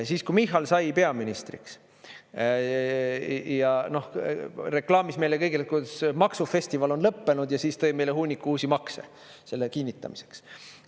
Siis, kui Michal sai peaministriks ja reklaamis meile kõigile, kuidas maksufestival on lõppenud – ja siis tõi meile hunniku uusi makse selle kinnitamiseks.